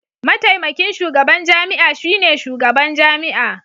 Mataimakin shugaban jami'a shine shugaban jami'a.